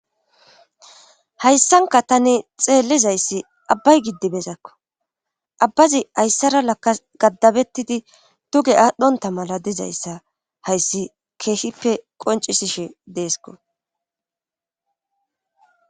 hayssanka tani xeellizayssi abbay giddibezakko abbazi ayssara lakka gaddabettidi tuge aadhdhonta mala dizayssa hayssi keeshippe qoncisishe deesko